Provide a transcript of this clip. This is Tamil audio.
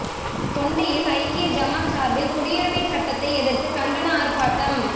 தொண்டியில் ஐக்கிய ஜமாத் சாா்பில் குடியுரிமைச் சட்டத்தை எதிா்த்து கண்டன ஆா்ப்பாட்டம்